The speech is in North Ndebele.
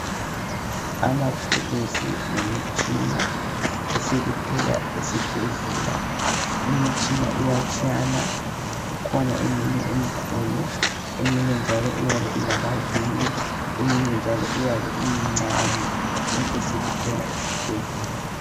Amathuluzi lemitshina esikuthola esibhedlela, imitshina iyatshiyana kukhona eminye emikhulu eminye njalo iyabe ilamavili eminye njalo iyabe imincane konke sikuthola esibhedlela.